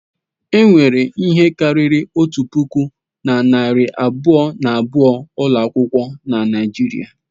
Enwere ihe karịrị otu puku na narị abụọ na abụọ ụlọ akwụkwọ na Nigeria.